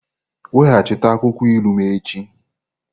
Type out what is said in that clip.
Weghachite akwụkwọ ilu m echi!